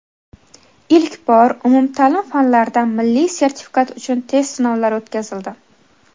Ilk bor umumta’lim fanlaridan milliy sertifikat uchun test sinovlari o‘tkazildi.